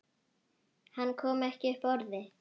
Hann kom ekki upp orði.